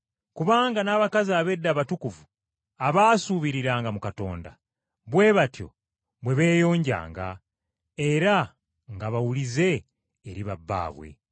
Kubanga n’abakazi ab’edda abatukuvu abaasuubiriranga mu Katonda, bwe batyo bwe beeyonjanga era nga bawulize eri ba bbaabwe.